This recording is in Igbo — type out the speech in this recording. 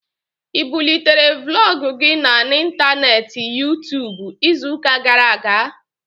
Ị bulitere Vlọg gị na n'intaneeti Yuu-tuubu izu ụka gara aga?